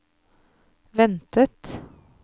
ventet